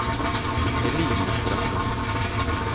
Eline Strømme